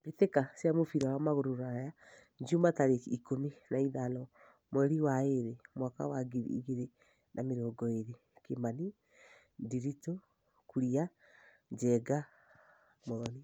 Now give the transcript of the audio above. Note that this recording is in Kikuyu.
Mbĩtĩka cia mũbira wa magũrũ Ruraya Juma tarĩki ikũmi na ithano mweri wa ĩrĩ mwakainĩ wa ngiri igĩrĩ na mĩrongo ĩrĩ: Kimani, Ndiritu, Kuria, Njenga, Muthoni.